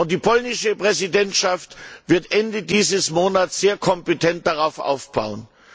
Die polnische Ratspräsidentschaft wird Ende dieses Monats sehr kompetent darauf aufbauen.